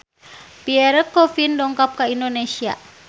Pierre Coffin dongkap ka Indonesia